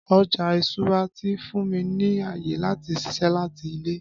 Ọja iṣura ti fun mi ni aye lati ṣiṣẹ lati ile